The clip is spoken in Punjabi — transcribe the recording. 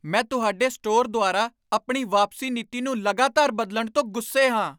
ਮੈਂ ਤੁਹਾਡੇ ਸਟੋਰ ਦੁਆਰਾ ਆਪਣੀ ਵਾਪਸੀ ਨੀਤੀ ਨੂੰ ਲਗਾਤਾਰ ਬਦਲਣ ਤੋਂ ਗੁੱਸੇ ਹਾਂ।